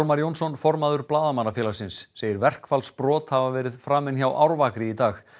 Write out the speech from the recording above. formaður Blaðamannafélagsins segir verkfallsbrot hafa verið framin hjá Árvakri í dag